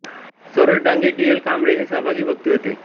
Saroj Dange D L Kamble हे सहभागी वक्ते होते